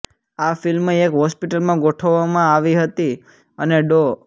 આ ફિલ્મ એક હોસ્પિટલમાં ગોઠવવામાં આવી હતી અને ડો